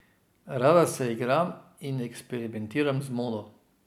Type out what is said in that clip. Rada se igram in eksperimentiram z modo.